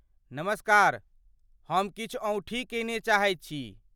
नमस्कार, हम किछु औंठी कीनय चाहैत छी।